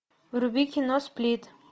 вруби кино сплит